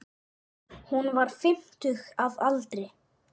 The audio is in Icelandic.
Hún var fimmtug að aldri.